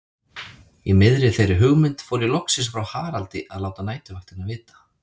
Í miðri þeirri hugmynd fór ég loksins frá Haraldi að láta næturvaktina vita.